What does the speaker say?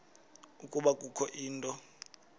ukuba kukho into